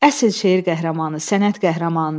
Əsil şeir qəhrəmanı, sənət qəhrəmanıdır.